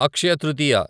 Akshaya Tritiya